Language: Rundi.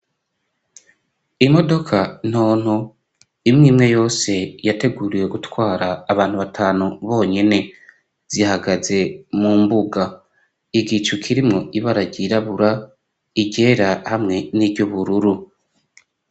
Imodoka ntonto imwimwe yose yateguriwe gutwara abantu batanu bonyene zihagaze mu mbuga igicu kirimwo ibara ryirabura, iryera hamwe n'iryubururu.